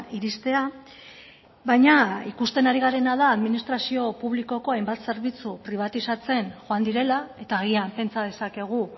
iristea baina ikusten ari garena da administrazio publikoko hainbat zerbitzu pribatizatzen joan direla eta agian pentsa dezakegu